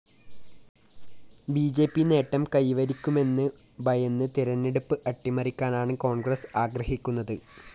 B J P നേട്ടം കൈവരിക്കുമെന്നു ഭയന്ന് തെരഞ്ഞെടുപ്പ് അട്ടിമറിക്കാനാണ് കോണ്‍ഗ്രസ് ആഗ്രഹിക്കുന്നത്